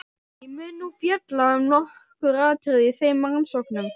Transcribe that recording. Ég mun nú fjalla um nokkur atriði í þeim rannsóknum.